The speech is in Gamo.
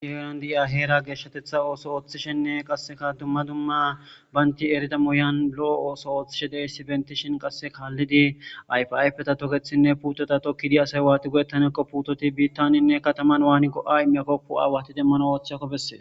diherondi aheera geeshshatetha ooso ooththishenne qasseka dumma dumma baynti erida moyan lo7o ooso ooththishe dey si benti shin qasse kaallidi ayfaypeta tokethinne puutota tokkidi asay waati godettanekqo puutoti biittanenne kataman waaninqo7a makokku aawati demmano ooththakko bessee